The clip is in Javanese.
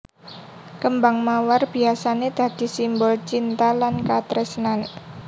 Kêmbang mawar biyasané dadi simbol cinta lan katresnan